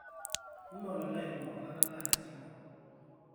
mee olalai ilo ola latalaa te simu